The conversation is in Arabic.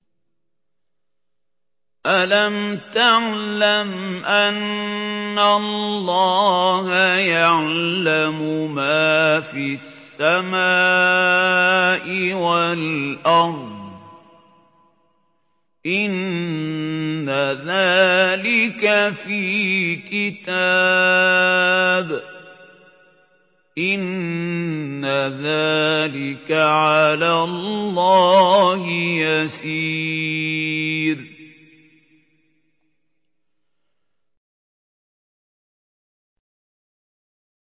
أَلَمْ تَعْلَمْ أَنَّ اللَّهَ يَعْلَمُ مَا فِي السَّمَاءِ وَالْأَرْضِ ۗ إِنَّ ذَٰلِكَ فِي كِتَابٍ ۚ إِنَّ ذَٰلِكَ عَلَى اللَّهِ يَسِيرٌ